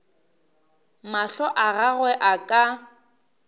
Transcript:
mahlo a gagwe a ka